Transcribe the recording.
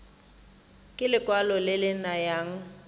ke lekwalo le le nayang